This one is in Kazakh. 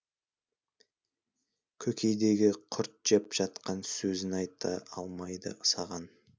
көкейдегі құрт жеп жатқан сөзін айта алмайды саған